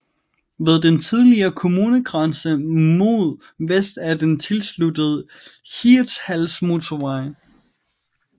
Ved den tidligere kommunegrænse mod vest er den tilsluttet Hirtshalsmotorvejen